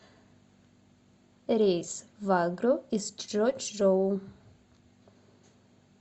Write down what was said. рейс в агру из чжочжоу